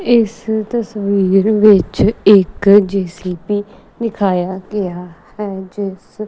ਇਸ ਤਸਵੀਰ ਵਿੱਚ ਇੱਕ ਜੇ_ਸੀ_ਬੀ ਦਿਖਾਇਆ ਗਿਆ ਹੈ ਜਿਸ --